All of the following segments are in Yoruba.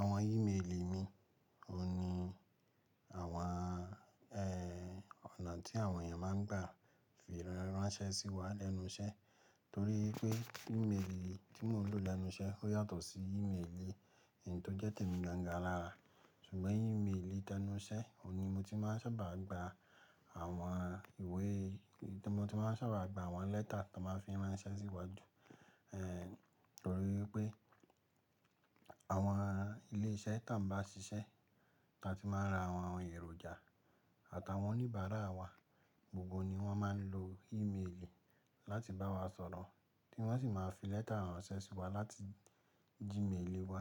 Àwọn ímeèlì mi, òhun ni àwọn eeh ọ̀nà tí àwọn ènìyàn máa ń gbà fi ránṣẹ́ sí wa lẹ́nu iṣẹ́. Torí pé ímeèlì tí mò ń lò lẹ́nu iṣẹ́ ó yàtọ̀ sí ímeèlì èyí tó jẹ́ tèmi gan an gan an alára. Ṣùgbọ́n ímeèlì tẹ́nu iṣẹ́, òun ni mo ti máa ń sábà gbà àwọn ìwé, tí mo ti máa ń sábà gbà àwọn lẹ́tà tí wọ́n máa fí ránṣẹ́ sí iwájú. Eh torí pé àwọn ilé iṣẹ́ tá ń bá ṣiṣẹ́, ta tí máa ń rà àwọn èròjà àti àwọn oníbàárà wa, gbogbo wọn ni wọn máa ń lò ímeèlì láti bá wa sọ̀rọ̀. Tí wọ́n sì máa fi lẹ́tà ránṣẹ́ sí wa láti Gmail wa.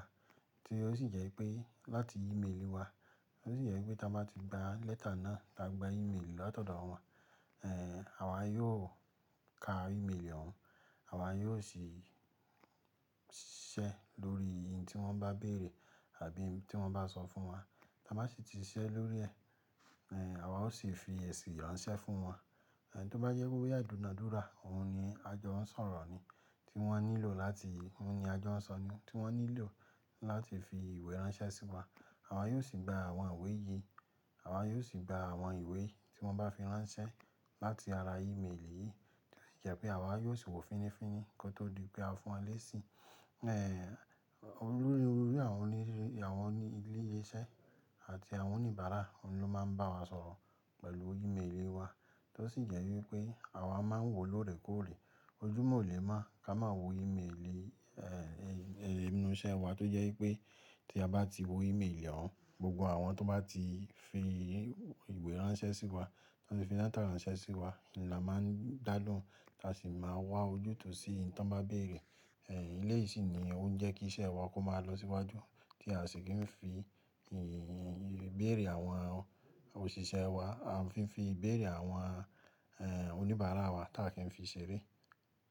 Ti ó sì jẹ́ pé láti ímeèlì wa, ó sì jẹ́ pé tí a bá ti gbà lẹ́tà náà, tí a gbà ímeèlì lọ́tọ̀do àwọn, àwa yóò kà ímeèlì òun, àwa yóò sì ṣíṣẹ́ lórí i n tí wọ́n bá béèrè àbí tí wọ́n bá sọ fún wa. Táa bá sì ti ṣiṣẹ́ lórí ẹ, àwa ó sì fi èsì ránṣẹ́ fún wọn. Tí ó bá yẹ kó yá ìdúnadúrà, òhun ni a jọ ń sọ̀rọ̀ ni tí wọ́n nílò láti, òhun ni a jọ ń sọ ni tí wọ́n nílò láti fi ìwé ránṣẹ́ sí wa. Àwa yóò sì gbà àwọn ìwé yìí, àwa yóò sì gbà àwọn ìwé tí wọ́n bá fi ránṣẹ́ láti ara ímeèlì yìí. Tosi jẹ́ pé àwa yóò sì wò fininfíni kó tó di pé a fún wọn léṣi. Eh olórí, olórí àwọn oní, àwọn onílese iṣẹ́ àti àwọn oníbàárà, òhun ló máa ń bá wa sọ̀rọ̀ pẹ̀lú ímeèlì wa. Tó sì jẹ́ wípé àwa máa ń wò lóòrẹ́ kòòrẹ́, ojúmọ̀ o lè máa ká máa wò ímeèlì inú iṣẹ́ wa. Tó jẹ́ wípé tí a bá ti wò ímeèlì òun, gbogbo àwọn tó bá ti fi ìwé ránṣẹ́ sí wa, tó fi lẹ́tà ránṣẹ́ sí wa ni a máa ń dálohun, ta sì máa wá ojútùú sí i n tí wọ́n bá béèrè. Eléyi sì ni òun jẹ kí iṣẹ́ wa máa lọ sì waju, ti asi kin fi ìbéèrè àwọn òṣìṣẹ́ wa àfi n fi ìbéèrè àwọn onibara wa tá kin fi ṣeré.